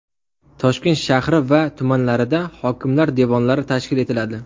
Toshkent shahri va tumanlarida hokimlar devonlari tashkil etiladi.